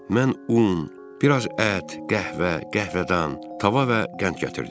Mən un, bir az ət, qəhvə, qəhvədan, tava və qənd gətirdim.